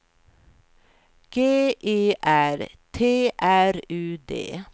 G E R T R U D